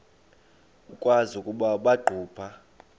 ukwazi ukuba baqhuba